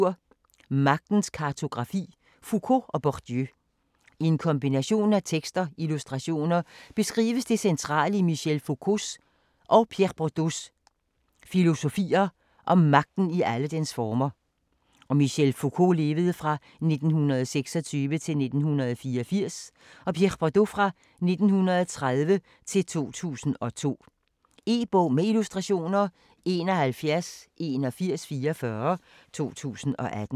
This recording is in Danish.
Magtens kartografi: Foucault og Bourdieu I en kombination af tekst og illustrationer beskrives det centrale i Michel Foucaults (1926-1984) og Pierre Bourdieus (1930-2002) filosofier om magten i alle dens former. E-bog med illustrationer 718144 2018.